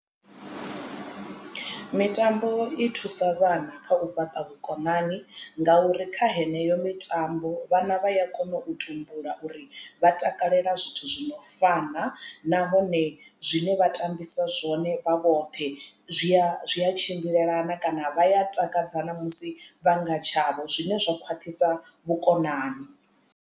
Mitambo i thusa vhana kha u fhaṱa vhukonani ngauri kha heneyo mitambo vhana vha ya kona u tumbula uri vha takalela zwithu zwi no fana na nahone zwine vha tambisa zwone vha vhoṱhe zwia zwia tshimbilelana kana vha ya takadza na musi vhanga tshavho zwine zwa khwaṱhisa vhukonani.